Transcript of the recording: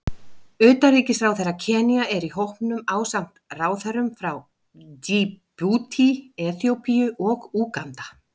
Utanríkisráðherra Kenía er í hópnum ásamt ráðherrum frá Djíbútí, Eþíópíu og Úganda.